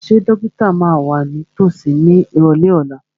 Ṣé dókítà máa wà ní tòsí ní ìrọ̀lẹ́ ọ̀la?